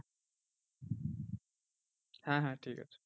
হ্যাঁ হ্যাঁ ঠিকাছে।